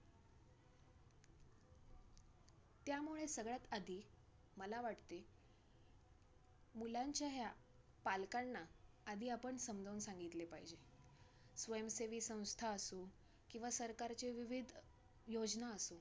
त्यामुळे सगळ्यात आधी मला वाटते मुलांच्या ह्या पालकांना आधी आपण समजावून सांगितले पाहिजे. स्वयंसेवी संस्था असो किंवा सरकारचे विविध योजना असो,